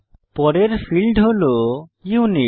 পরের ফীল্ড হল ইউনিট